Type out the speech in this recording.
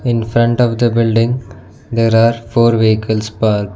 in front of the building there are four vehicles parked.